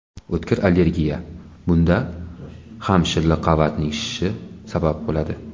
O‘tkir allergiya Bunda ham shilliq qavatning shishi sabab bo‘ladi.